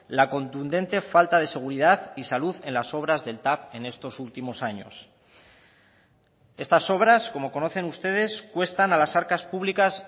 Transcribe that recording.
la contundente falta de seguridad y salud en las obras del tav en estos últimos años estas obras como conocen ustedes cuestan a las arcas públicas